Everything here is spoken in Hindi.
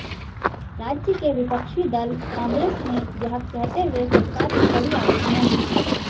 राज्य के विपक्षी दल कांग्रेस ने यह कहते हुए सरकार की कड़ी आलोचना की